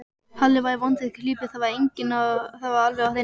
Halli var í vondri klípu, það var alveg á hreinu.